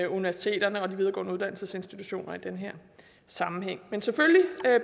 universiteterne og de videregående uddannelsesinstitutioner i den her sammenhæng men selvfølgelig